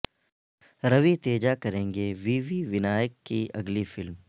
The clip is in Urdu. روی تیجا کریں گے وی وی ونائیک کی اگلی فلم